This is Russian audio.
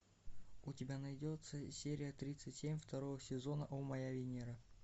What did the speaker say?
у тебя найдется серия тридцать семь второго сезона о моя венера